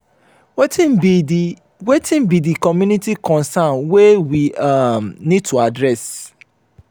wetin be di wetin be di community concerns wey we um need to address?